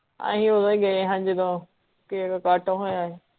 ਆਹੀਂ ਓਦੋਂ ਈ ਗਏ ਹਾਂ ਜਿਦੋਂ ਕੇਕ ਕੱਟ ਹੋਇਆ ਹੀ